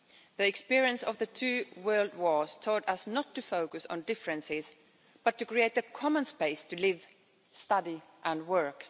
The experience of the two World Wars taught us not to focus on differences but to create a common space in which to live, study and work.